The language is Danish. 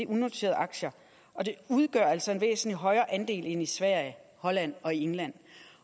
unoterede aktier og de udgør altså en væsentlig højere andel end i sverige holland og england